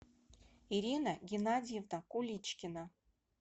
ирина геннадьевна куличкина